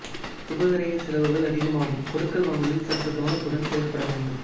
சுப விரயச்செலவுகள் அதிகமாகும் கொடுக்கல் வாங்கலில் சற்று கவனத்துடன் செயல்பட வேண்டும்